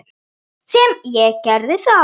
Sem ég gerði þá.